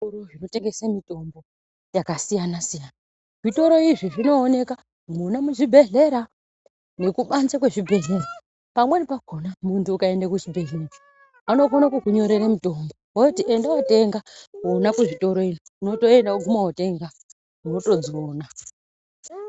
Kune zvitoro zvino tengese mitombo yaka siyana siya zvitoro izvi zvino oneka mwona mu zvibhedhlera neku banze kwe zvibhedhlera pamweni pakona muntu uka ende ku chibhedhleya vano kone kuku nyorere mitombo voti ende kuno tenga ikona ku zvitoro izvi wotoenda wo guma wotenga woto dziona.